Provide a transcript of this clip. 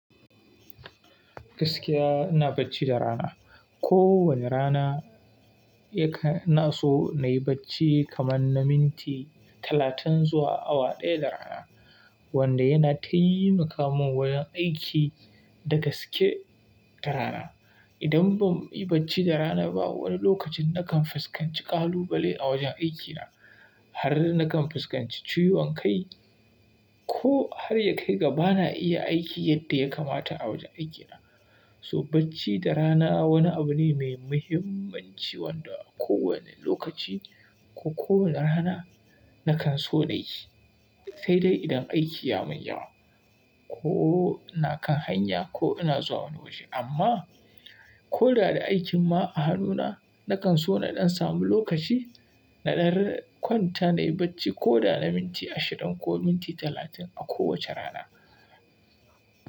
Gaskiya ina bacci da rana. Ko wani rana yana, ina so na yi bacci kaman na minti talatin zuwa awa ɗaya da rana wanda yana taimaka mun wajen aiki da gaske da rana. Idan ban yi bacci da rana ba wani lokacin nakan fuskanci kalubale a wajen aikina har nakan fuskanci ciwon kai ko har ya kai ga ba na iya aiki yadda ya kamata a wajen aikina. So bacci da rana wani abu ne mai muhimmanci wanda ko wane lokaci ko ko wane rana nakan so na yi. Sai dai idan aiki ya mun yawa ko ina kan hanya ko ina zuwa wani waje. Amma ko da da aikin ma a hannuna nakan so naɗan samu lokaci naɗar kwanta nayi bacci ko da na minti ashirin ko minti talatin a kowace rana.